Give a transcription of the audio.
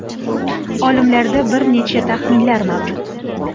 Olimlarda bir necha taxminlar mavjud.